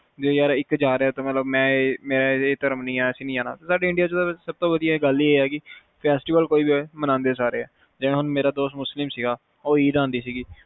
ਕੇ ਇਕ ਜਾ ਰਿਹਾ ਮੈਂ ਇਹ ਧਰਮ ਨੀ ਮੈਂ ਨੀ ਜਾਣਾ ਸਾਡੇ india ਚ ਸਬ ਤੋਂ ਵਧੀਆ ਇਹ ਗੱਲ ਆ ਕੇ festival ਕੋਈ ਵੀ ਹੋਵੇ ਮੰਨਦੇ ਸਾਰੇ ਆ ਜਿਵੇ ਮੇਰਾ ਦੋਸਤ ਮੁਸਲਿਮ ਸੀਗਾ ਉਹ ਈਦ ਆਂਦੀ ਸੀਗੀ